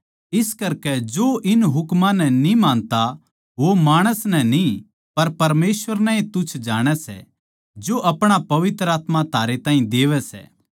इस करकै जो इन हुकमां नै न्ही मानता वो माणस नै न्ही पर परमेसवर नै तुच्छ जाणै सै जो अपणा पवित्र आत्मा थारै ताहीं देवै सै